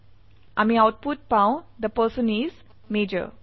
আমি আউটপুট পাও the person is মাজৰ